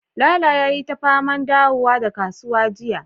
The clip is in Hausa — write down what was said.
lalo yayi ta faman dawowa daga kasuwa jiya